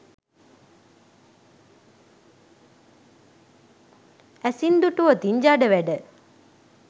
ඇසින් දුටුවොතින් ජඩ වැඩ